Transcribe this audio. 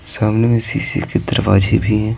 सामने शीशे के दरवाजे भी हैं।